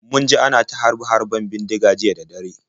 Mun ji ana ta harbe-harben bindiga jiya da dare.